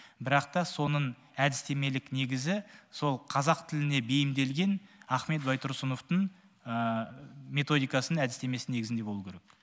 бірақ та соның әдістемелік негізі сол қазақ тіліне бейімделген ахмет байтұрсыновтың методикасының әдістемесінің негізінде болуы керек